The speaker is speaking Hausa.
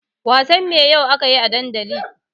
Wasan me akayi yau a dandali?